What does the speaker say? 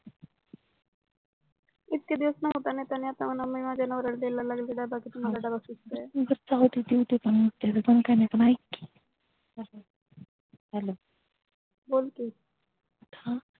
इतक्यादिवस न्हवत अन मी माझ्या नवऱ्याला द्यायला लागले डब्बा कि बर जाऊदे देऊदे पण ऐकी hello बोल कि